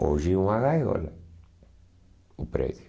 Hoje é uma gaiola, o prédio.